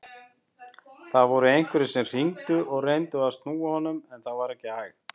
Það voru einhverjir sem hringdu og reyndu að snúa honum en það var ekki hægt.